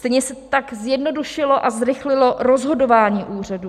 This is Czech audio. Stejně tak se zjednodušilo a zrychlilo rozhodování úřadů.